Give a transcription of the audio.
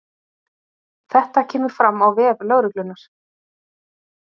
Þetta kemur fram á vef lögreglunnar